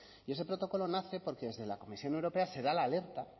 y ese protocolo nace porque desde la comisión europea se da la alerta